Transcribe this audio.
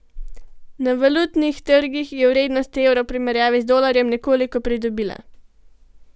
Na valutnih trgih je vrednost evra v primerjavi z dolarjem nekoliko pridobila.